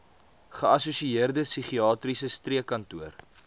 geassosieerde psigiatriese streekkantoor